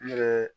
N yɛrɛ